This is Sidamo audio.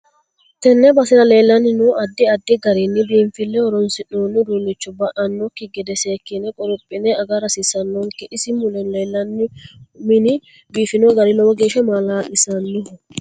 Tenne basera leellano addi addi garinni biinfileho horoonsinooni uduunicho ba'anokki gede seekine qorophine agara hasiisanonke isi mule leelanno mini biifino gari lowo geesha maalalisiisanno